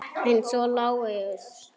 Eins og Lárus.